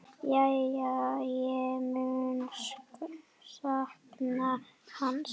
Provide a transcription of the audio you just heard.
Já, ég mun sakna hans.